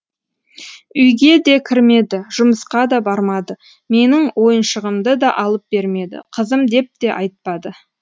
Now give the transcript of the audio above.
үйге де кірмеді жұмысқа да бармады менің ойыншығымды да алып бермеді қызым деп те айтпады